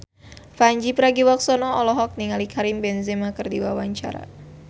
Pandji Pragiwaksono olohok ningali Karim Benzema keur diwawancara